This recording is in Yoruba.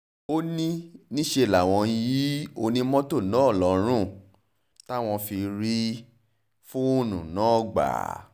ó ní níṣẹ́ làwọn yin onímọ́tò náà lọ́rùn táwọn fi rí fóònù náà gbà